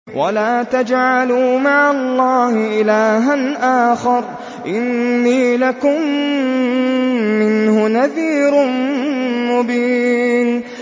وَلَا تَجْعَلُوا مَعَ اللَّهِ إِلَٰهًا آخَرَ ۖ إِنِّي لَكُم مِّنْهُ نَذِيرٌ مُّبِينٌ